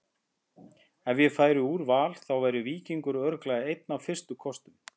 Ef ég færi úr Val þá væri Víkingur örugglega einn af fyrstu kostum.